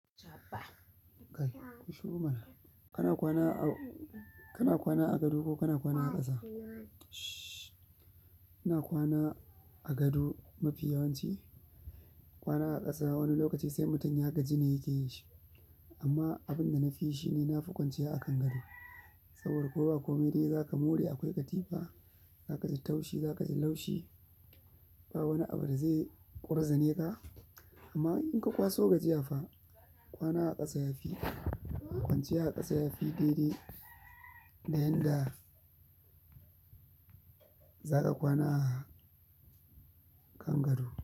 Kai, ku shuru mana. Ka na kwana a, ka na kwana a gado ko ka na kwana a ƙasa? Ina kwana a gado ma fi yawanci kwana a ƙasa wani lokaci sai mutum ya gaji ne ya ke yin shi. Amma abin da na fi yi shi ne na fi kwanciya a kan gado. Saboda ko ba kome dai za ka more akwai katifa, za ka ji taushi, za ka ji laushi. Ba wani abu da zai ƙurzane ka. Amma in ka kwaso gajiya fa kwana a ƙasa ya fi, kwanciya a ƙasa ya fi daidai da yadda za ka kwana a kan gado.